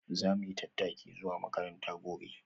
Za mu yi tattaki zuwa makaranta gobe.